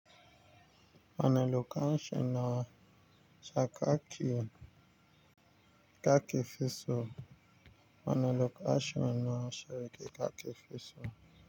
Wane lokacin na saka keke fi so? Wane lokacin na saki keke fi so?